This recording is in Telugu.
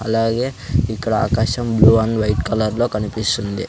అలాగే ఇక్కడ ఆకాశం బ్లూ ఆండ్ వైట్ కలర్ లో కనిపిస్తుంది.